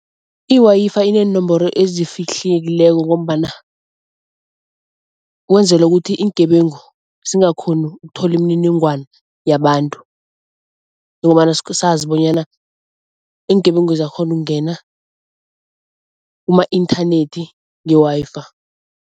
I-Wi-Fi ineenomboro ezifihlekileko ngombana kwenzela ukuthi iingebengu zingakghoni ukuthola imininingwana yabantu njengobana sazi bonyana iingebengu ziyakghona ukungena kuma-inthanethi nge-Wi-Fi.